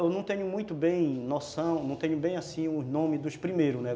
Eu não tenho muito bem noção, não tenho bem assim o nome dos primeiros, né?